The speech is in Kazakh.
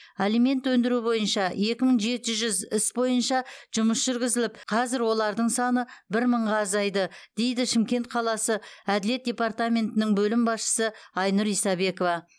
алимент өндіру бойынша екі мың жеті жүз іс бойынша жұмыс жүргізіліп қазір олардың саны бір мыңға азайды дейді шымкент қаласы әділет департаментінің бөлім басшысы айнұр исабекова